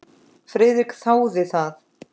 Friðrik þáði það.